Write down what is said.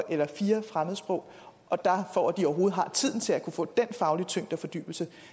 eller fire fremmedsprog og for at de overhovedet har tiden til at kunne få den faglige tyngde og fordybelse